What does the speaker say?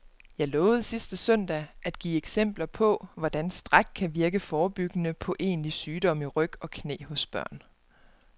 Jeg lovede sidste søndag at give eksempler på, hvordan stræk kan virke forebyggende på egentlig sygdom i ryg og knæ hos børn.